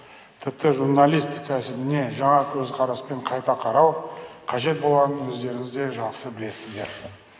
тіпті журналистика міне жаңа көзқараспен қайта қарау қажет болғанын өздеріңіз де жақса білесіздер